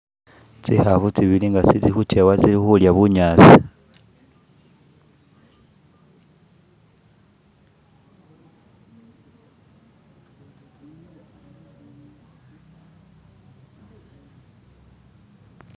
Tsikhafu tsibili nga tsili khujewa tsilikhulya bunyaasi